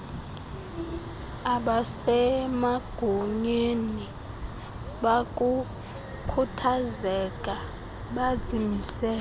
abasemagunyeni bakukhuthazeka bazimisele